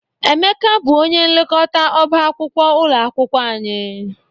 Emeka bụ onye nlekọta ọba akwụkwọ ụlọ akwụkwọ anyị.